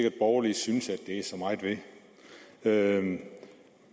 at borgerlige synes at der er så meget ved det